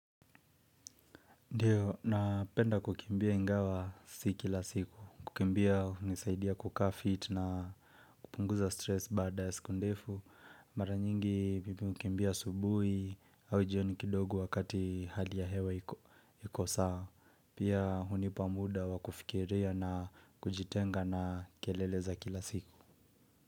Ndiyo, napenda kukimbia ingawa siki la siku. Kukimbia hunisaidia kukaa fit na kupunguza stress baada ya siku ndefu. Mara nyingi mimi hukimbia asubuhi au jioni kidogo wakati hali ya hewa iko sawa. Pia hunipa muda wa kufikiria na kujitenga na kelele za kila siku.